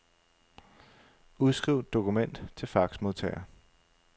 Udskriv dokument til faxmodtager.